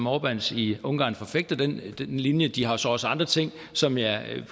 orbáns i ungarn forfægter den linje men de har så også andre ting som jeg